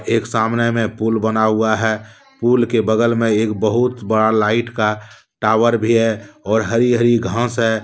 एक सामने में पुल बना हुआ है पूल के बगल में एक बहुत बड़ा लाइट का टावर भी है और हरी हरी घास है।